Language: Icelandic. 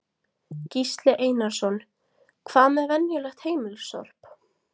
Gísli Einarsson: Hvað með venjulegt heimilissorp?